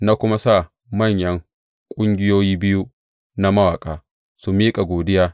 Na kuma sa manyan ƙungiyoyi biyu na mawaƙa su miƙa godiya.